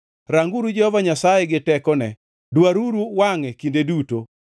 Ranguru Jehova Nyasaye gi tekone, dwaruru wangʼe kinde duto.